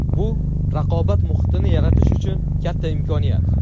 Bu raqobat muhitini yaratish uchun katta imkoniyat.